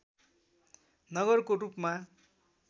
नगरको रूपमा